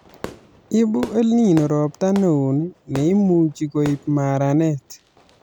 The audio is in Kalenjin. Ibu EL Nino robta neoo ne imuchi koib maranet